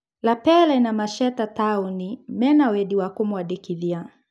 Lapele na Masheta Taũni mena wendi wa kũmwandĩkithia.